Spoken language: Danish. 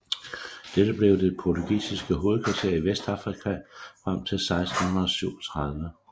Dette blev det portugisiske hovedkvarter i Vestafrika frem til 1637